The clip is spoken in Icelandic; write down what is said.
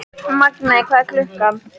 Magney, hvað er klukkan?